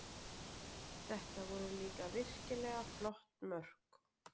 Þetta voru líka virkilega flott mörk